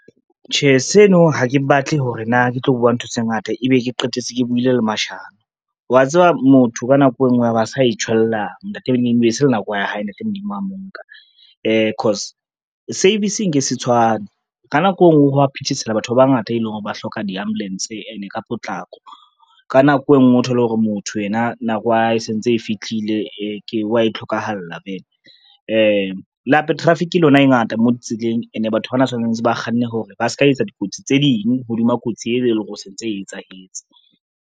Tjhe, seno ha ke batle hore na ke tlo bua ntho tse ngata ebe ke qetetse ke buile le mashano. Wa tseba motho ka nako e ngwe a ba sa itjhwella e be se le nako ya hae ntate Modimo a mo nka. Cause, service e ke se tshwane ka nako e ngwe ha wa phethesela batho ba bangata, e leng hore ba hloka di-ambulance ene ka potlako. Ka nako e ngwe o thole hore motho yena nako ya hae e sentse e fithlile wa e tlhokahala vele. Le hape traffic lona e ngata mo ditseleng ene batho bana tshwanetse ba kganne hore ba ska etsa dikotsi tse ding hodima kotsi eo e leng hore e se ntse e etsahetse.